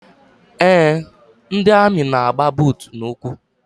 Eé, ndị amị na-agba buutu n'ụkwụ.